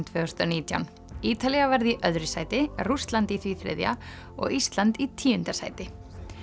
tvö þúsund og nítján Ítalía varð í öðru sæti Rússland í því þriðja og Ísland í tíunda sæti